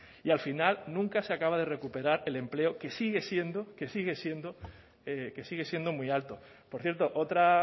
y al final nunca se acaba de recuperar el empleo que sigue siendo que sigue siendo muy alto por cierto otra